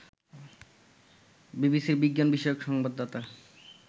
বিবিসির বিজ্ঞান বিষয়ক সংবাদদাতা